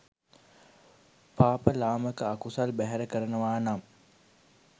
පාප ලාමක අකුසල් බැහැර කරනවා නම්